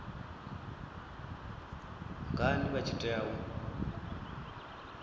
ngani vha tshi tea u